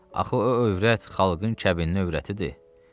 axı o övrət xalqın kəbinli övrətidir.